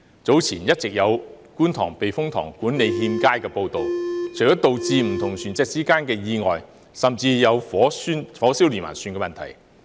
早前一直有觀塘避風塘管理欠佳的報道，除了導致不同船隻之間的意外，甚至有火燒連環船的問題。